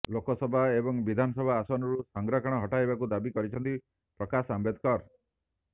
ଲୋକସଭା ଏବଂ ବିଧାନସଭା ଆସନରୁ ସଂରକ୍ଷଣ ହଟାଇବାକୁ ଦାବି କରିଛନ୍ତି ପ୍ରକାଶ ଆମ୍ବେଦକର